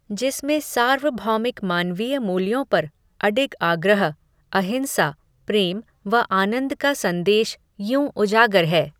जिसमें, सार्वभौमिक मानवीय मूल्यों पर, अडिग आग्रह, अहिंसा, प्रेम, व आनन्द का संदेश, यूं उजागर है